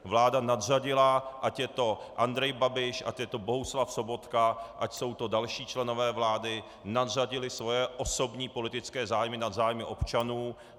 Vláda nadřadila, ať je to Andrej Babiš, ať je to Bohuslav Sobotka, ať jsou to další členové vlády, nadřadili své osobní politické zájmy nad zájmy občanů.